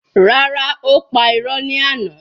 Rárá, ó pa irọ́ ní àná.